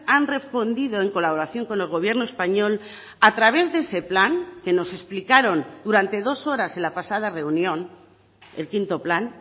han respondido en colaboración con el gobierno español a través de ese plan que nos explicaron durante dos horas en la pasada reunión el quinto plan